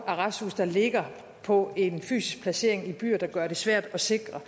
arresthuse der ligger på en fysisk placering i byer der gør det svært at sikre